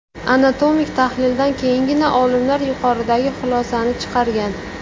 Anatomik tahlildan keyingina olimlar yuqoridagi xulosani chiqargan.